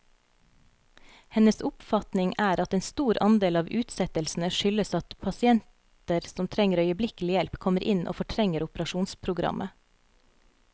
Hennes oppfatning er at en stor andel av utsettelsene skyldes at pasienter som trenger øyeblikkelig hjelp, kommer inn og fortrenger operasjonsprogrammet.